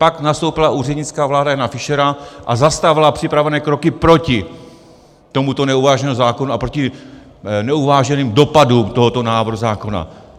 Pak nastoupila úřednická vláda Jana Fischera a zastavila připravené kroky proti tomuto neuváženému zákonu a proti neuváženým dopadům tohoto návrhu zákona.